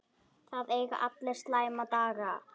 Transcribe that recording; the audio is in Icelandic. Það eiga allir slæma daga.